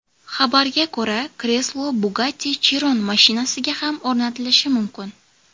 Xabarga ko‘ra, kreslo Bugatti Chiron mashinasiga ham o‘rnatilishi mumkin.